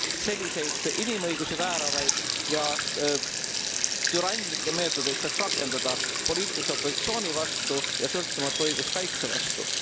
selliseid inimõigusi vääravaid ja türanlikke meetodeid saaks rakendada poliitlise opositsiooni vastu ja sõltumatu õiguskaitse vastu.